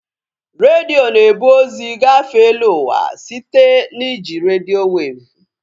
Redio na-ebu ozi gafee eluụwa site na iji redio weevụ